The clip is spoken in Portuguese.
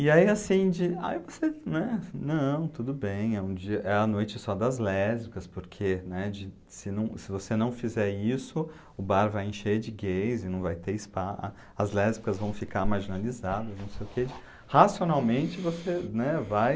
E aí assim, de, aí você né, não, tudo bem, é um dia, é a noite só das lésbicas, porque, né, de, se você não fizer isso, o bar vai encher de gays e não vai ter spa, as lésbicas vão ficar marginalizadas, não sei o que, racionalmente você, né, vai...